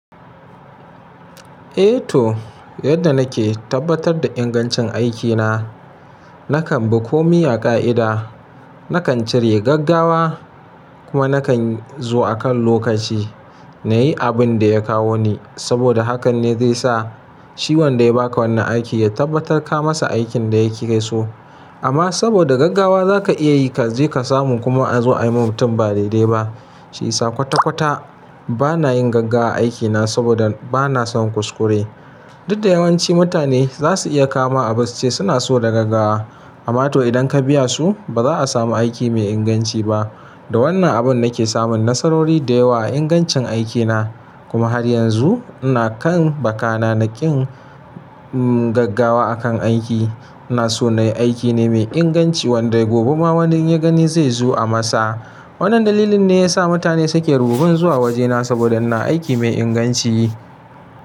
Eh to, yadda nake tabbatar da ingancin aikina, nakan bi komi a ƙa'ida. Nakan cire gaggawa kuma nakan zo akan lokaci na yi abin da ya kawo ni. Saboda hakan ne zai sa shi wanda ya ba ka wannan aiki ya tabbatar ka masa aikin da ya ke so. Amma saboda gaggawa za ka iya yi ka je ka samu kuma a zo a yi wa mutum ba daidai ba. Shi sa kwata-kwata bana yin gaggawa a aikina saboda bana son kuskure. Du Da yawanci mutane za su iya kawo ma abu suce suna so da gaggawa. Amma to idan ka biya su, ba za a samu aiki mai inganci ba. Da wannan abun nake samun nasarori da yawa a ingancin aikina. Kuma har yanzu ina kan bakana na kin gaggawa akan aiki. Ina so na yi aiki ne mai inganci wanda gobe ma wanda in ya gani zai zo a masa. Wannan dalilin ne ya sa mutane suke rubibin zuwa wajena saboda ina aiki mai inganci.